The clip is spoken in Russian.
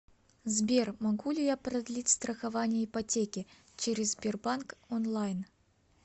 сбер могу ли я продлить страхование ипотеки через сбербанк онлайн